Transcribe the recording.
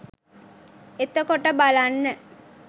එතකොට බලන්න